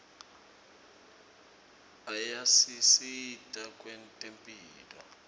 ayasisita kwetemphilo